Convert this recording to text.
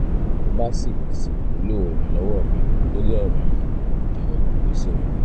bó o bá ṣì ṣì nílò ìrànlọ́wọ́ mi lórí ọ̀ràn yìí jọ̀wọ́ kọ̀wé sí mi